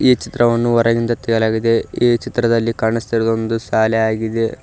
ಈ ಚಿತ್ರವನ್ನು ಹೊರಗಿಂದ ತೆಗೆಯಲಾಗಿದೆ ಈ ಚಿತ್ರದಲ್ಲಿ ಕಾಣುಸ್ತಿರುವುದು ಒಂದು ಶಾಲೆ ಆಗಿದೆ.